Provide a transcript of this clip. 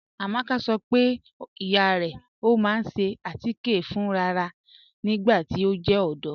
Amaka sọ pe iya rẹ ma n ṣe atikẹ rẹ fún ráràrá nigbati o jẹ ọdọ.